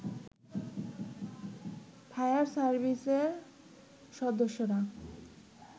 fire সার্ভিসের সদস্যরা